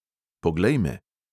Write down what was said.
Poglej me.